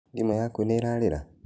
Thimũ yakũ nĩĩrarĩra?